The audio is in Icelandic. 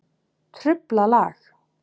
Truflað lag.